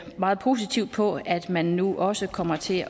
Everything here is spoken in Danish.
meget positivt på at man nu også kommer til